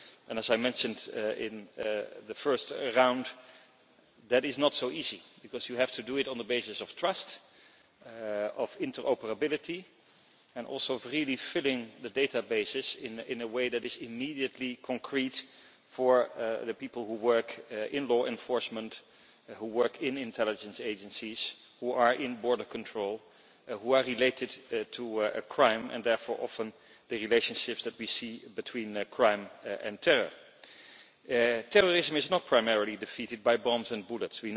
As I mentioned in the first round, that is not so easy because you have to do it on the basis of trust, interoperability and also filling the databases in a way that is immediately concrete for the people who work in law enforcement and intelligence agencies, who are in border control, and who are related to crime and therefore often the relationships that we see between crime and terror. Terrorism is not primarily defeated by bombs and bullets.